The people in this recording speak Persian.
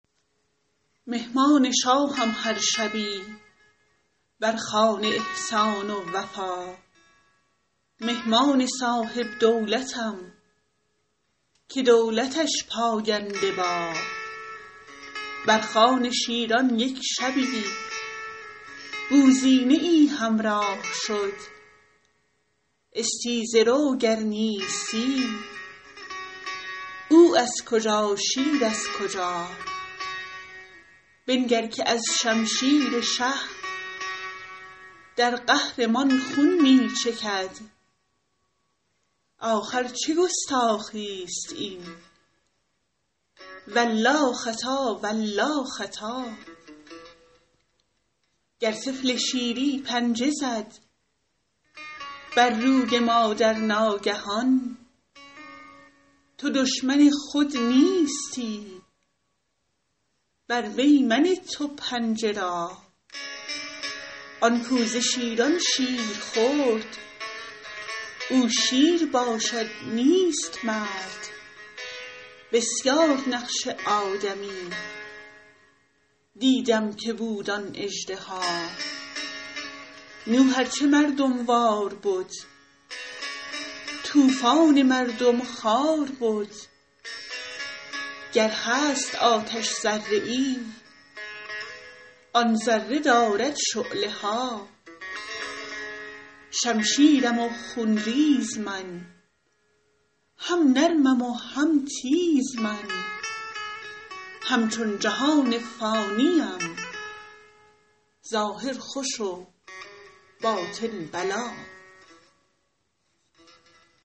مهمان شاهم هر شبی بر خوان احسان و وفا مهمان صاحب دولتم که دولتش پاینده با بر خوان شیران یک شبی بوزینه ای همراه شد استیزه رو گر نیستی او از کجا شیر از کجا بنگر که از شمشیر شه در قهر مان خون می چکد آخر چه گستاخی است این والله خطا والله خطا گر طفل شیری پنجه زد بر روی مادر ناگهان تو دشمن خود نیستی بر وی منه تو پنجه را آن کاو ز شیران شیر خورد او شیر باشد نیست مرد بسیار نقش آدمی دیدم که بود آن اژدها نوح ار چه مردم وار بد طوفان مردم خوار بد گر هست آتش ذره ای آن ذره دارد شعله ها شمشیرم و خون ریز من هم نرمم و هم تیز من همچون جهان فانی ام ظاهر خوش و باطن بلا